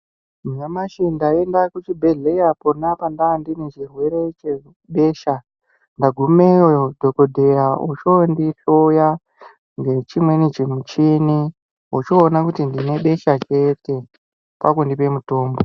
Nyamashi ndaenda kuchibhedhleya pona pandandine chirwere chebesha. Ndagumeyo, dhokodheya ochondihloya ngechimweni chimuchini, echoona kuti ndine besha chete, kwakundipe mutombo.